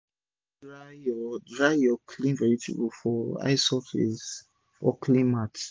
always dry ur dry ur clean vegetable for high surface or clean mat